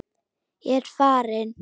Ég er farinn!